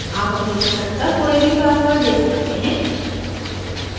आप अपनी पसंद का कोई भी password दे सकते हैं